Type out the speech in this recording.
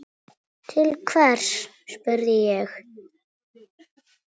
Til hvers, spurði ég.